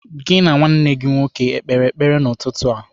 Gị na nwa nna gị o kpere ekpere n'ụtụtụ a?